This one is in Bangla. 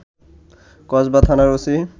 কসবা থানার ওসি